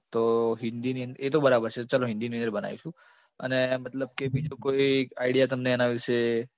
તો હિન્દીની અંદર, એ તો બરાબર છે લો હિન્દીની અંદર બનાવીશું અને મતલબ કે બીજો કોઈ idea તમને એના વિષે?